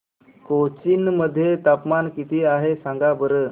कोचीन मध्ये तापमान किती आहे सांगा बरं